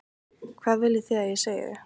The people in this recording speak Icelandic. Hvað viljið þið að ég segi?